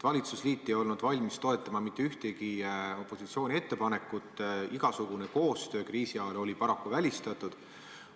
Valitsusliit ei olnud valmis toetama mitte ühtegi opositsiooni ettepanekut, igasugune koostöö kriisi ajal oli paraku välistatud.